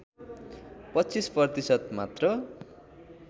२५ प्रतिशत मात्र